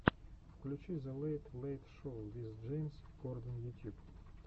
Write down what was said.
включи зе лэйт лэйт шоу виз джеймс корден ютьюб